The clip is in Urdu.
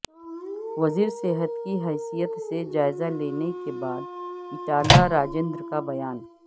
وزیر صحت کی حیثیت سے جائزہ لینے کے بعد ایٹالہ راجندر کا بیان